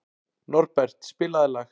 Norbert, spilaðu lag.